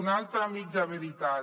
una altra mitja veritat